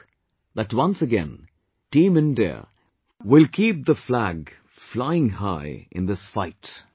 I hope that once again Team India will keep the flag flying high in this fight